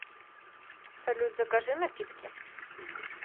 салют закажи напитки